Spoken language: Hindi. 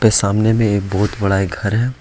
सामने में एक बहोत बड़ा एक घर है।